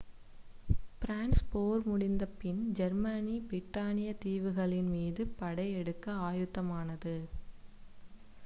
France போர் முடிந்த பின் ஜெர்மனி பிரிட்டானிய தீவுகளின் மீது படை எடுக்க ஆயத்தமானது